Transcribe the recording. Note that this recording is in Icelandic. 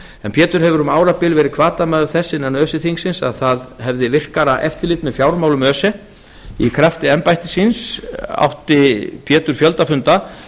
en pétur hafði um árabil verið hvatamaður þess innan öse þingsins að það hefði virkara eftirlit með fjármálum öse í krafti embættis síns átti pétur fjölda funda